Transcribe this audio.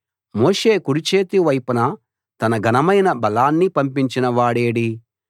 మోషే కుడిచేతి వైపున తన ఘనమైన బలాన్ని పంపించిన వాడేడి